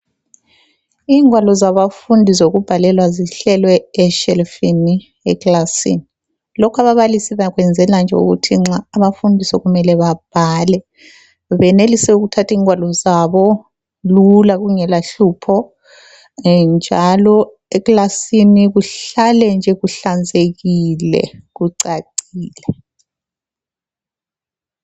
Ingwalo zabafundi zokubhalela zihlelwe eshelifini ekilasini. Lokhu ababalisi bakwenzela nje ukuthi nxa abafundi sokumele babhale benelise ukuthatha ingwalo zabo lula kungelahlupho njalo ekilasini kuhlale nje kuhlanzekile, kucacile.